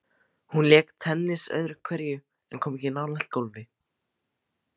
Hann lék tennis öðru hverju en kom ekki nálægt golfi.